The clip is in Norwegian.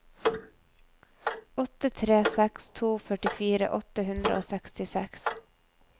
åtte tre seks to førtifire åtte hundre og sekstiseks